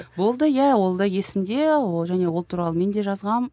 болды иә ол да есімде ол және ол туралы мен де жазғанмын